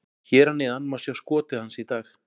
Hér að neðan má sjá skotið hans í dag: